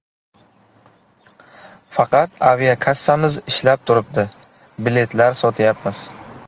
Faqat aviakassamiz ishlab turibdi., biletlar sotyapmiz.